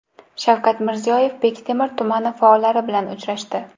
Shavkat Mirziyoyev Bektemir tumani faollari bilan uchrashdi.